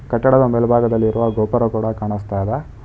ಕಟ್ಟಡದ ಮೇಲ್ಭಾಗದಲ್ಲಿರುವ ಗೋಪುರ ಕೂಡ ಕಾನಸ್ತಾ ಇದೆ.